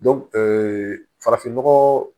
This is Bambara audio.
farafinnɔgɔ